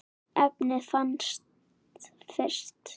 efnið fannst fyrst.